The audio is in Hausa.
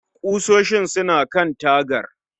Ƙusoshin suna kan tagar